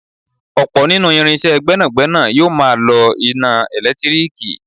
Ọ̀pọ̀ nínú irinsé gbẹ́nàgbẹ́nà yóò máa lọ iná ẹ̀lẹ́tírìkì